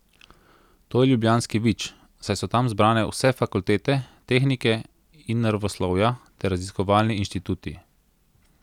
To je ljubljanski Vič, saj so tam zbrane vse fakultete tehnike in naravoslovja ter raziskovalni inštituti.